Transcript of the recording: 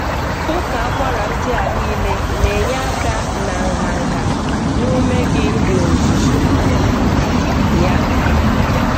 Uka akwara ndị a niile na-enye aka na nha nha na ume gị n'ozuzu ya.